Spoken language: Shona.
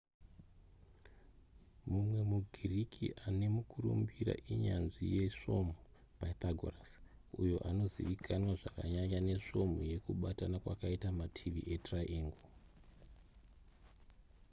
mumwe mugiriki akakurumbira inyanzvi yemasvomhu pythagoras uyo anozivikanwa zvakanyanya nesvomhu yekubatana kwakaita mativi etriangle